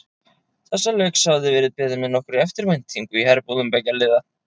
Þessa leiks hafði verið beðið með nokkurri eftirvæntingu í herbúðum beggja liða.